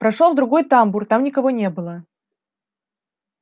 прошёл в другой тамбур там никого не было